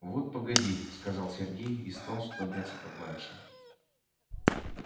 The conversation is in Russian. вот погоди сказал сергей и стал что-то бряцать по клавишам